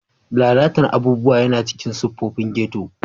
Lalata abubuwa yana cikin siffofin ghetto.